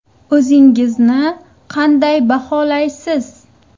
O‘zingizni qanday baholaysiz?